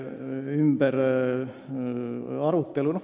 See on väga imelik.